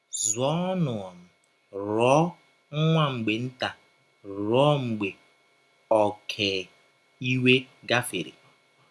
Zọọnụ um rụọ nwa mgbe nta, rụọ mgbe ọké iwe gafere. ”